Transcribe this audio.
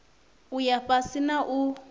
u ya fhasi na u